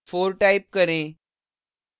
4 type करें